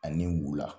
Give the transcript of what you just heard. Ani wula